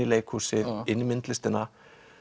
leikhúsið inn í myndlistina